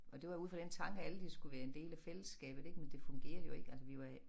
Og det var ud fra den tanke at alle de skulle være en del af fællesskabet ik men det fungerer jo ikke altså vi var